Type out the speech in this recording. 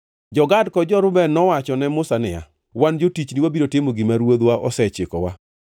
Jo-Gad kod jo-Reuben nowacho ne Musa niya, “Wan jotichni, wabiro timo gima ruodhwa osechikowa.